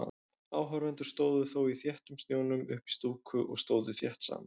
Áhorfendur stóðu þó í þéttum snjónum uppí stúku og stóðu þétt saman.